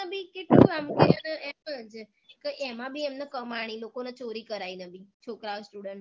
કેટલું આમ એમાંબી એમને કમાણી લોકોને ચોરી કરાઈને બી છોકરાઓ student ઓ